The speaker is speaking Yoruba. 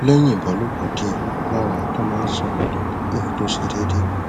lẹyìn ìbálòpọ díẹ lára àtọ máa ń ṣàn padà èyí tó ṣe déédé